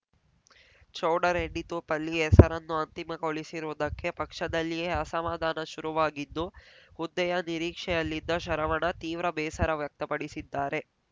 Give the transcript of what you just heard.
ಚೌಡರೆಡ್ಡಿ ತೂಪಲ್ಲಿ ಹೆಸರನ್ನು ಅಂತಿಮಗೊಳಿಸಿರುವುದಕ್ಕೆ ಪಕ್ಷದಲ್ಲಿಯೇ ಅಸಮಾಧಾನ ಶುರುವಾಗಿದ್ದು ಹುದ್ದೆಯ ನಿರೀಕ್ಷೆಯಲ್ಲಿದ್ದ ಶರವಣ ತೀವ್ರ ಬೇಸರ ವ್ಯಕ್ತಪಡಿಸಿದ್ದಾರೆ